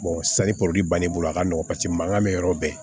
sani poli bani a ka nɔgɔn paseke mankan bɛ yɔrɔ bɛɛ